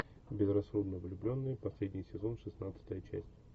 безрассудно влюбленный последний сезон шестнадцатая часть